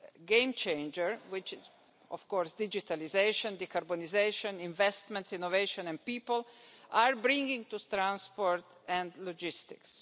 game changers which are of course digitalisation, decarbonisation, investments, innovation, and people are bringing to transport and logistics.